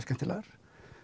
skemmtilegar